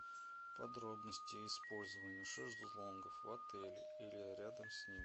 подробности использования шезлонгов в отеле или рядом с ним